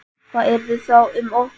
Hvað yrði þá um okkur öll?